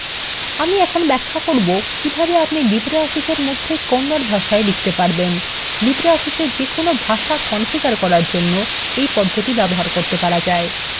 আমি এখন ব্যাখ্যা করব কিভাবে আপনি libreoffice এর মধ্যে kannada ভাষায় লিখত পারবেন libreofficeএ যেকোন ভাষা configure করার জন্য এই পদ্ধতি ব্যবহার করতে পারা যায়